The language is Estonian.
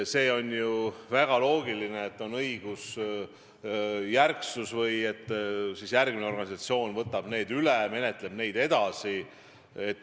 See on ju väga loogiline, et on õigusjärgsus, et järgmine organisatsioon võtab need asjad üle, menetleb neid edasi.